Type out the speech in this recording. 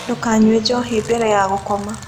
Ndũkanyũe njohĩ bere ya gũkoma